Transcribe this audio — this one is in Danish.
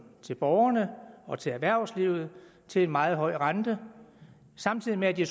til borgerne og til erhvervslivet til en meget høj rente og samtidig med at de